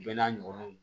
Bɛɛ n'a ɲɔgɔnnaw